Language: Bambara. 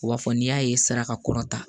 U b'a fɔ n'i y'a ye sara ka kɔrɔ ta